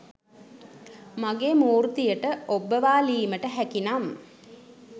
මගේ මූර්තියට ඔබ්බවාලීමට හැකිනම්